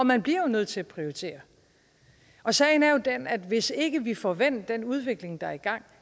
man bliver jo nødt til at prioritere sagen er jo den at hvis ikke vi får vendt den udvikling der er i gang